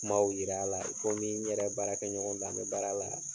Kumaw yir'a la i komi n yɛrɛ baarakɛɲɔgɔn don an be baara la